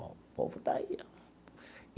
O povo está aí ó.